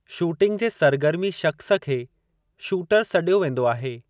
Shooting जे सरगर्मी शख्सु खे शूटर सॾियो वेंदो आहे।